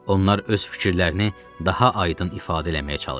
Onlar öz fikirlərini daha aydın ifadə eləməyə çalışır.